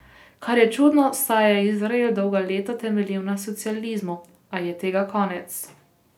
Kar je čudno, saj je izrael dolga leta temeljil na socializmu, a je tega konec.